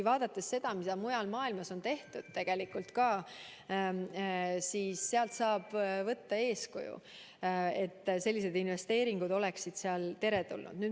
Vaadates seda, mida mujal maailmas on tehtud, saab võtta eeskuju, et sellised investeeringud oleksid seal teretulnud.